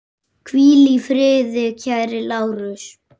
Hvíl í friði kæri Lárus.